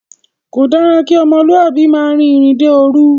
Kò dára kí ọmọlúàbí máa rin ìrìnde òòru